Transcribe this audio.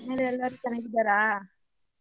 ಊರಲ್ಲೇಲ್ಲಾರೂ ಚೆನ್ನಾಗಿದ್ದಾರಾ?